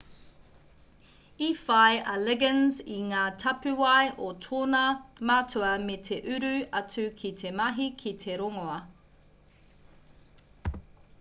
i whai a liggins i ngā tapuwae o tōna matua me te uru atu ki te mahi ki te rongoā